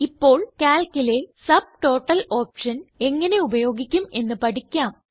ഇപ്പോൾ Calcലെ subtotal option എങ്ങനെ ഉപയോഗിക്കും എന്ന് പഠിക്കാം